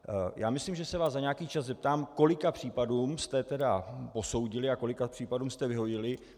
Já myslím, že se vás za nějaký čas zeptám, kolik případů jste posoudili a kolika případům jste vyhověli.